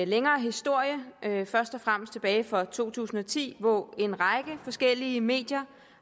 længere historie først og fremmest tilbage fra to tusind og ti hvor en række forskellige medier